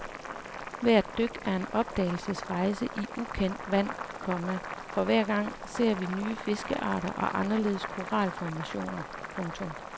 Hvert dyk er en opdagelsesrejse i ukendt vand, komma for hver gang ser vi nye fiskearter og anderledes koralformationer. punktum